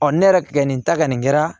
ne yɛrɛ kɛ nin ta ka nin kɛra